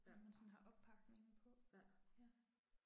Ja. Ja